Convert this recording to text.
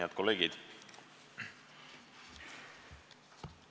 Head kolleegid!